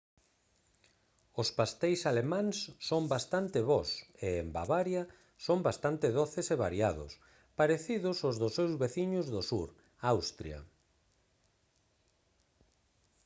os pasteis alemáns son bastante bos e en bavaria son bastante doces e variados parecidos aos dos seus veciños do sur austria